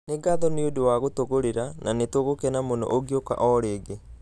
Nĩ ngatho nĩ ũndũ wa gũtũgũrira, na nĩtũgũkena mũno ũngĩũka o rĩngĩ.